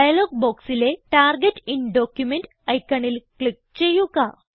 dialogue ബോക്സിലെ target in document ഐക്കണിൽ click ചെയ്യുക